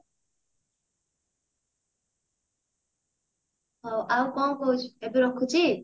ହଁ ଆଉ କଣ କହୁଛୁ ଏବେ ରଖୁଛି